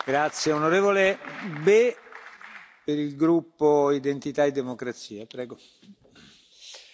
Madame le Premier ministre, Monsieur le Président, chers collègues, au cours de cette Présidence roumaine, je me suis rendu plusieurs fois à Bucarest.